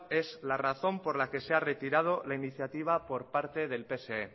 es la razón por la que se ha retirado la iniciativa por parte del pse